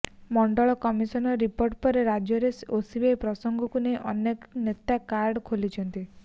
ମଣ୍ଡଳ commission report ପରେ ରାଜ୍ୟରେ OBC ପ୍ରସଙ୍ଗକୁ ନେଇ ଅନେକ ନେତା କାର୍ଡ ଖେଳିଛନ୍ତି